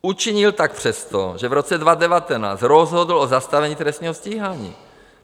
Učinil tak přesto, že v roce 2019 rozhodl o zastavení trestního stíhání.